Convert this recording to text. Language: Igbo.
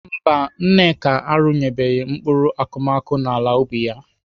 Mba, Nneka arụnyebeghị mkpụrụ akụmakụ n'ala ubi ya.